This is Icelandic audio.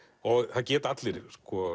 það geta allir